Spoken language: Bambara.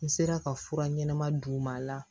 N sera ka fura ɲɛnɛma d'u ma